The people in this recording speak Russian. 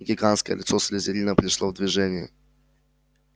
гигантское лицо слизерина пришло в движение